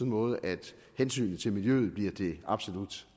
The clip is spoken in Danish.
måde at hensynet til miljøet bliver det absolut